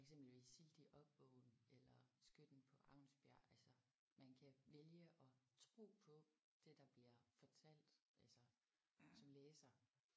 For eksempel i Sildig Opvågnen eller Skytten på Aunsbjerg altså man kan vælge at tro på det der bliver fortalt altså som læser